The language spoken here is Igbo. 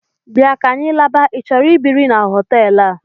Bịa ka anyị laba: i chọrọ ibiri n'hotelu a?